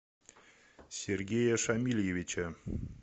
сергея шамильевича